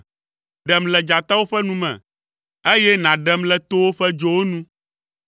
Ɖem le dzatawo ƒe nu me, eye nàɖem le towo ƒe dzowo nu.